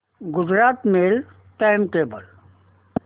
Gujarat mail time table